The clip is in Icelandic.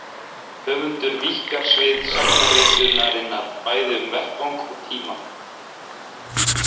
Höfundur víkkar svið sagnaritunarinnar bæði um vettvang og tíma.